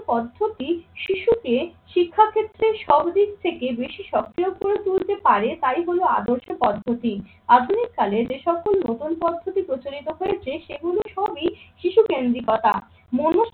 পদ্ধতি শিশুকে শিক্ষাক্ষেত্রে সব দিক থেকে বেশি সক্রিয় করে তুলতে পারে তাই হলো আদর্শ পদ্ধতি। আধুনিক কালে যে সকল নতুন পদ্ধতি প্রচলিত হয়েছে সেগুলো সবই শিশু কেন্দ্রিকতা। মনোজ